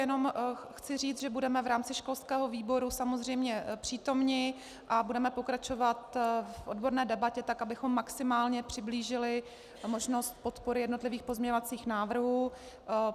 Jenom chci říct, že budeme v rámci školského výboru samozřejmě přítomni a budeme pokračovat v odborné debatě tak, abychom maximálně přiblížili možnost podpory jednotlivých pozměňovacích návrhů.